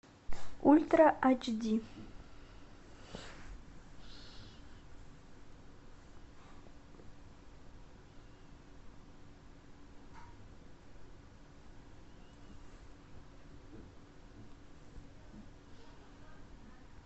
ультра ач ди